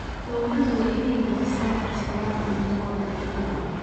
Dawladdu waa inay dejisaa qorshayaal cunto oo degdeg ah.